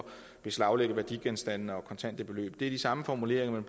beslaglægge værdigenstande og kontante beløb er de samme formuleringer